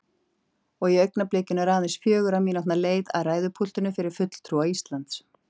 Og í augnablikinu er aðeins fjögurra mínútna leið að ræðupúltinu fyrir fulltrúa Íslands.